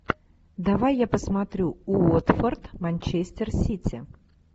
давай я посмотрю уотфорд манчестер сити